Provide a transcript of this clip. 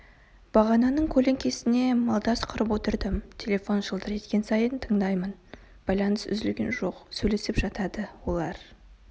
бағананың көлеңкесіне малдас құрып отырдым телефон шылдыр еткен сайын тыңдаймын байланыс үзілген жоқ сөйлесіп жатады олар